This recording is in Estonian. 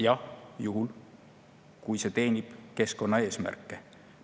Jah, juhul kui see teenib keskkonnaeesmärke.